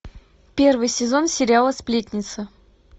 первый сезон сериала сплетница